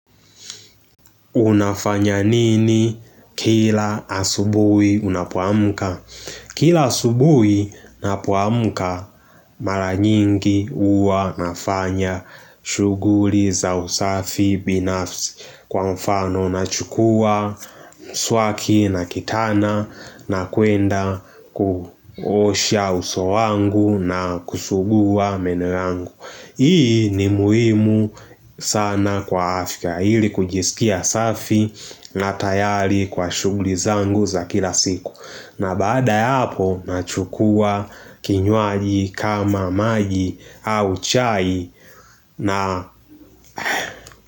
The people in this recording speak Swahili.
Unafanya nini kila asubui unapoamka? Kila asubui napoamka mara nyingi huwa nafanya shughuri za usafi binafsi kwa mfano nachukua mswaki na kitana na kuenda kuosha uso wangu na kusugua meno yangu. Hii ni muhimu sana kwa afya ili kujisikia safi na tayari kwa shughuli zangu za kila siku. Na baada ya hapo nachukua kinywaji kama maji au chai na.